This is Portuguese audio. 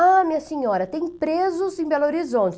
Ah, minha senhora, tem presos em Belo Horizonte.